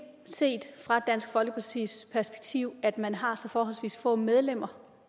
set fra dansk folkepartis perspektiv at man har så forholdsvis få medlemmer